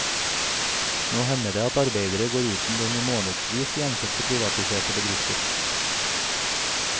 Nå hender det at arbeidere går uten lønn i månedvis i enkelte privatiserte bedrifter.